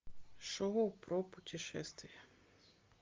шоу про путешествия